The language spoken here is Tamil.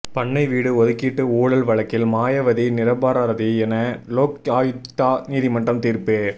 பண்ணை வீடு ஒதுக்கீட்டு ஊழல் வழக்கில் மாயாவதி நிரபராதி என லோக்ஆயுக்தா நீதிமன்றம் தீர்ப்பு